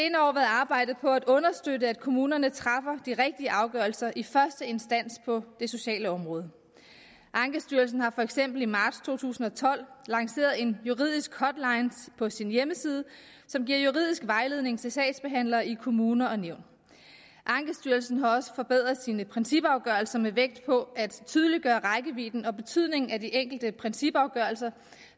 arbejdet på at understøtte at kommunerne træffer de rigtige afgørelser i første instans på det sociale område ankestyrelsen har for eksempel i marts to tusind og tolv lanceret en juridisk hotline på sin hjemmeside som giver juridisk vejledning til sagsbehandlere i kommuner og nævn ankestyrelsen har også forbedret sine principafgørelser med vægt på at tydeliggøre rækkevidden og betydningen af de enkelte principafgørelser